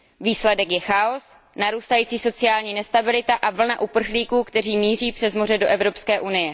Výsledkem je chaos, narůstající sociální nestabilita a vlna uprchlíků, kteří míří přes moře do EU.